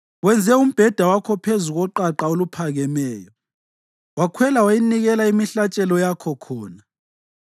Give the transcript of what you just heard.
Wenze umbheda wakho phezu koqaqa oluphakemeyo, wakhwela wayanikela imihlatshelo yakho khona.